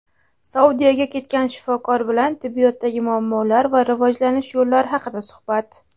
Saudiyaga ketgan shifokor bilan tibbiyotdagi muammolar va rivojlanish yo‘llari haqida suhbat.